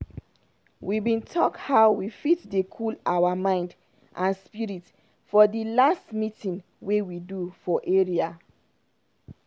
we bin talk how we fit dey cool our mind and spirit for d last meeting wey we do for area.